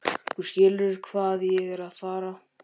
Þú skilur hvað ég er að fara.